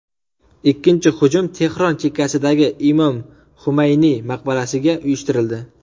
Ikkinchi hujum Tehron chekkasidagi Imom Xumayniy maqbarasiga uyushtirildi.